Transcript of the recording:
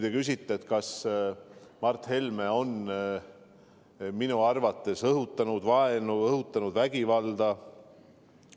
Te küsite, kas Mart Helme on minu arvates õhutanud vaenu, vägivalda.